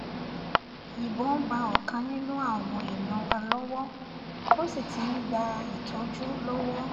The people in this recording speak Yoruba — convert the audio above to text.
ìbọn bá ọ̀kan nínú àwọn èèyàn wa lọ́wọ́ ó sì ti ń gba ìtọ́jú lọ́wọ́